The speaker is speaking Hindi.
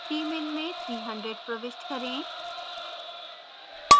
tmin में 300 प्रविष्ट करें